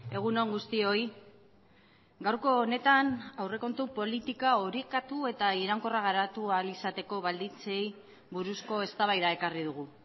egun on guztioi gaurko honetan aurrekontu politika orekatu eta iraunkorra garatu ahal izateko baldintzei buruzko eztabaida ekarri dugu